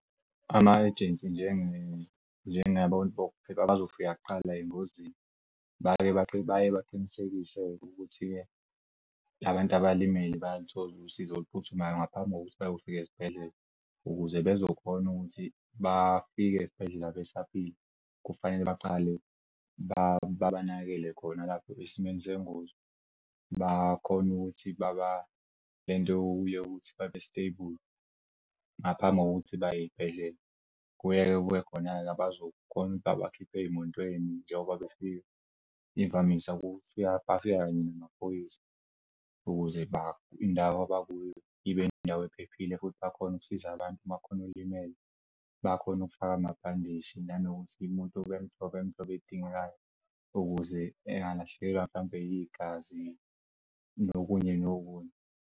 Ama-agency njengabantu bokuphela bazofika kuqala engozini baye baye baqinisekise ukuthi-ke la bantu abalimele bayaluthola usizo oluphuthumayo ngaphambi kokuthi bayofika esibhedlela ukuze bezokhona ukuthi bafike esibhedlela besaphila. Kufanele baqale babanakekele khona lapho esimweni sengozi bakhone ukuthi baba lento yokuthi babe-stable. Ngaphambi kokuthi baye ey'bhedlela, kuye kube khona-ke abazokhona babakhipha ey'motweni njoba befika, imvamisa ukufika bafika kanye namaphoyisa ukuze laba abakuyo ibe indawo ephephile futhi bakhone ukusiza abantu makhona olimele bakhone ukufaka amabhandishi nanokuthi umuntu bemnike usizo oludingekayo ukuze ngalahlekelwa mhlampe igazi nokunye nokunye.